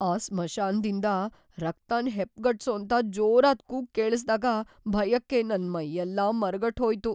ಆ ಸ್ಮಶಾನದಿಂದ ರಕ್ತನ್‌ ಹೆಪ್ಪ್ಗಟ್ಸೋಂಥ ಜೋರಾದ್‌ ಕೂಗ್‌ ಕೇಳಿಸ್ದಾಗ ಭಯಕ್ಕೆ ನನ್‌ ಮೈಯೆಲ್ಲ ಮರಗಟ್ಟ್‌ಹೋಯ್ತು.